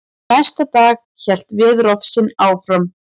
Næsta dag hélt veðurofsinn áfram.